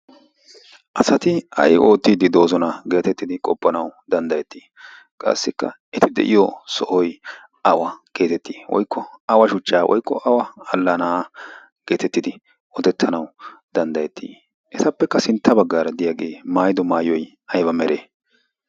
asati ay oottiiddi doozona geetettidi qoppanau danddayettii qassikka eti deyiyo sohoi awa geetettii oikko awa shuchchaa oiqqo awa allana'aa geetettidi otettanau danddayettii esappekka sintta baggaara diyaagee maayido maayoi aiba mere?